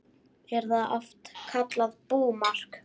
Er það oft kallað búmark.